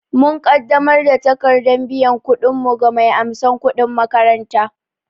Mun ƙaddamar da takardar biyan kuɗinmu ga mai amsan kudin makaranta